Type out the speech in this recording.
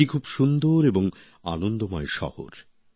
এটি খুব সুন্দর এবং আনন্দময় শহর